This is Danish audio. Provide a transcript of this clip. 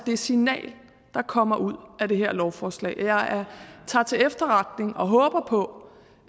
det signal der kommer ud af det her lovforslag og jeg tager til efterretning og håber på